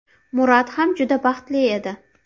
Murat ham juda baxtli edi.